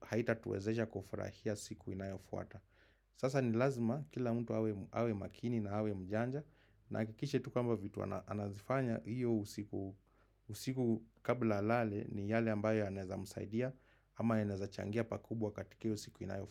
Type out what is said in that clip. haita tuwezesha kufurahia siku inayofuata. Sasa ni lazima kila mtu awe makini na awe mjanja. Na ahakikishe tu kwamba vitu anazifanya hiyo usiku kabla alale ni yale ambayo yanaweza msaidia. Ama inaweza changia pakubwa katika hiyo siku inayofuata.